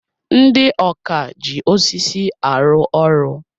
Ndị ọkà ji osisi arụ ọrụ.